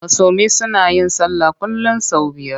Musulmi suna yin sallah kullum sau biyar.